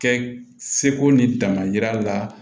Kɛ seko ni dangari la